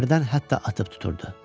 hərdən hətta atıb tuturdu.